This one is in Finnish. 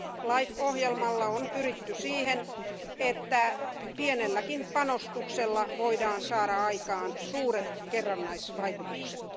LIFE ohjelmalla on pyritty siihen, että pienelläkin panostuksella voidaan saada aikaan suuret kerrannaisvaikutukset.